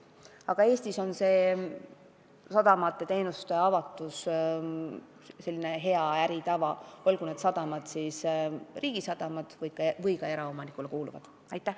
Aga Eestis on sadamate teenuste avatus hea äritava, olgu tegu riigile kuuluvate või eraomanikule kuuluvate sadamatega.